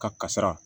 Ka kasira